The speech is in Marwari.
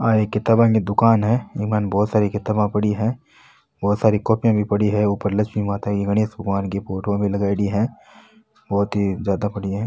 आ एक किताबे की दुकान है इमा बहोत सारी किताबा पड़ी है बहोत सारी कॉपीया भी पड़ी है ऊपर लक्ष्मी माता की गणेश भगवान की फोटो लगाई डी है बहोत ज्यादा पड़ी है।